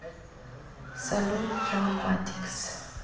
салют драмматикс